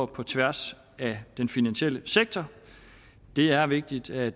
på tværs af den finansielle sektor det er vigtigt at